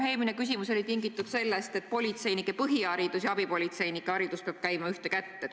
Minu eelmine küsimus oli tingitud sellest, et politseinike põhiharidus ja abipolitseinike haridus peavad käima ühte jalga.